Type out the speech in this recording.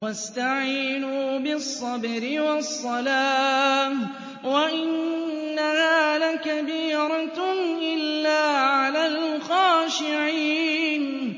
وَاسْتَعِينُوا بِالصَّبْرِ وَالصَّلَاةِ ۚ وَإِنَّهَا لَكَبِيرَةٌ إِلَّا عَلَى الْخَاشِعِينَ